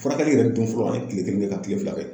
Furakɛli yɛrɛ dun fɔlɔ , an ye kile kelen kɛ ka kile fila kɛ.